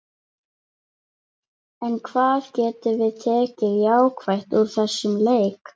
En hvað getum við tekið jákvætt úr þessum leik?